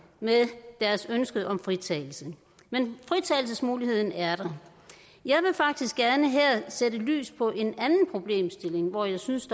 med deres ønske om fritagelse men fritagelsesmuligheden er der jeg vil faktisk gerne her sætte lys på en anden problemstilling hvor jeg synes